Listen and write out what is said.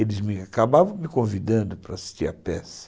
Eles acabavam me convidando para assistir a peça.